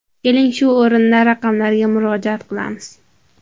Keling, shu o‘rinda raqamlarga murojaat qilamiz.